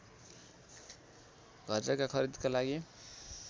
घरजग्गा खरिदका लागि